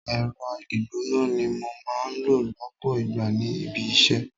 Ẹ̀rọ ìgbóná ni mo máa ń lò lọpọ ìgbà ní ibi-isẹ.